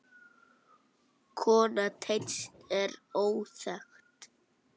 Kona Teits er óþekkt.